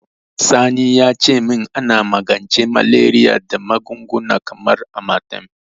Sani ya ce min ana magance Malariya da magunguna kamar Amatem.